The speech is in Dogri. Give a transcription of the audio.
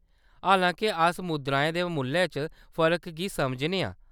हालांके, अस मुद्राएं दे मुल्लै च फर्क गी समझने आं।